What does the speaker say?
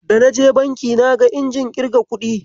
Da naje banki naga injin irga kuɗi.